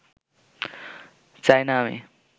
চাই না আমি